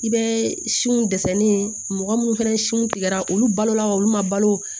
I bɛ si minnu dɛsɛlen mɔgɔ minnu fana sin tigɛra olu balo la olu ma balo